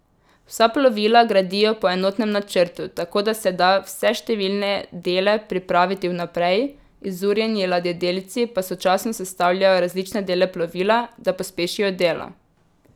Vsa plovila gradijo po enotnem načrtu, tako da se da vse številne dele pripraviti vnaprej, izurjeni ladjedelci pa sočasno sestavljajo različne dele plovila, da pospešijo delo.